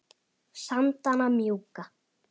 sandana mjúka